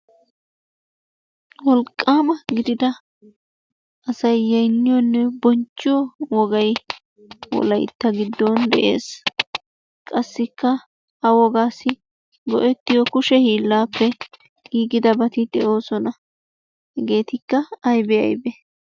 Wolqqaama gidida asay yaynniyonne bonchchiyo wogay wolaytta giddon de'ees. Qassikka ha wogaassi go'ettiyo kushe hiillaappe giigidabati de'oosona. Hegeetikka aybee? Aybee?